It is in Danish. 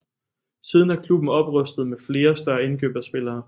Siden har klubben oprustet med flere store indkøb af spillere